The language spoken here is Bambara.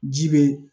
Ji be